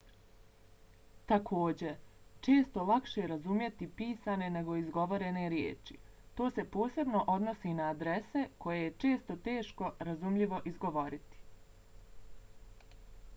također često lakše razumjeti pisane nego izgovorene riječi. to se posebno odnosi na adrese koje je često teško razumljivo izgovoriti